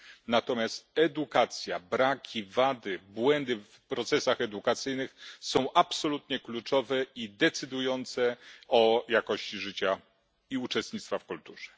natomiast edukacja, braki, wady, błędy w procesach edukacyjnych są absolutnie kluczowe i decydujące o jakości życia i uczestnictwa w kulturze.